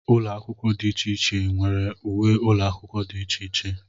Ụlọ akwụkwọ dị iche iche nwere uwe ụlọ akwụkwọ dị iche iche.